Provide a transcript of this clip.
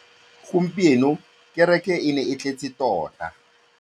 Gompieno kêrêkê e ne e tletse tota.